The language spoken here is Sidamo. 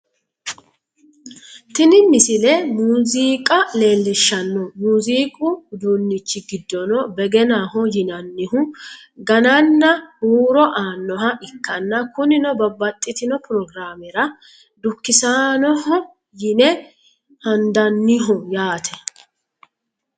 tini misile muziiqa leellishshanno muziiqu uduunnichi giddono begenaho yinannihu gannanna huuro aanoha ikkanna kunino babbaxxitino pirogiraamera dukkisannoho yine handanniho yaate